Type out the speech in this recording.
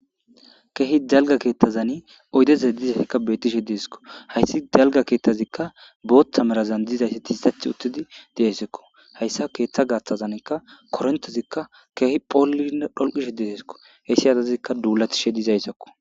Keehi jalga keettazani oydeza dizazikka betishe deesikko hayssi jalga keetthazikka booththa merazan dizayssi tiisath uttidi deessekko hayssa keeththa gaaththazankka korontezikka keehi phoollinne dholqishe dideesko hessi adazikka duulathishe dizayssakko.